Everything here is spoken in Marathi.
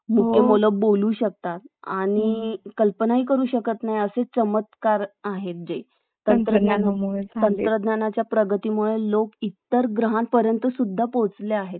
अं एक व्यवस्थित शिक्षक दिला तर खरचं ते त्यांची अं अं त्यांची प्रगती करू शकतात. आणि खरचं ते त्या अह त्या स्थानावर पोहचू शकतात जे